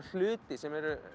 hluti sem eru